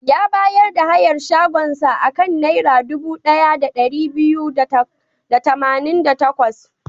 Ya bayar da hayar shagonsa a kan Naira dubu ɗaya da ɗari biyu da tamanin da takwas.